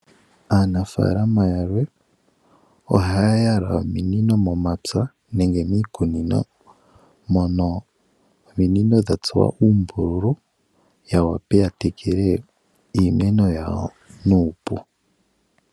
Aanafalama yalwe ohaya yala ominino momapya nenge miikunino, mono ominino dhatsuwa uumbululu ya wape ya tekele iimeno yawo nuupu.